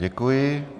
Děkuji.